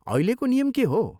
अहिलेको नियम के हो ?